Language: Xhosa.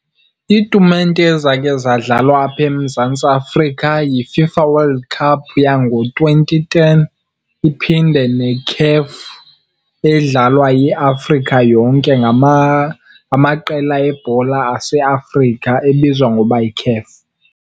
Iitumente ezakhe zadlalwa apha eMzantsi Afrika yiFIFA World Cup yango-twenty ten, iphinde neCAF edlalwa yiAfrika yonke, ngamaqela ebhola aseAfrika ebizwa ngoba yiCAF.